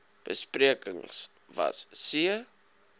besprekings was c